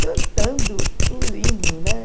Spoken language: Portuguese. Cantando o hino, né?